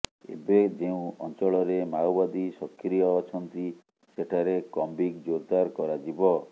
ଏବେ ଯେଉଁ ଅଞ୍ଚଳରେ ମାଓବାଦୀ ସକ୍ରିୟ ଅଛନ୍ତି ସେଠାରେ କମ୍ବିଂ ଜୋରଦାର କରାଯିବ